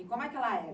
E como é que ela era?